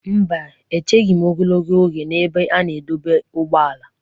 Mba, echeghị m ogologo oge n'ebe a na-adọba ụgbọala.